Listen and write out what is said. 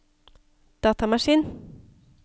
datamaskin